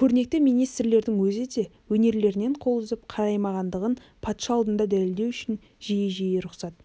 көрнекті министрлердің өзі де өнерлерінен қол үзіп қараймағандығын патша алдында дәлелдеу үшін жиі-жиі рұқсат